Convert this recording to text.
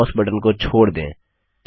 अब बायें mouse button को छोड़ दें